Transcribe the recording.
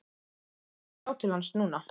Þeir ættu að sjá til hans núna.